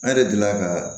An yɛrɛ delila ka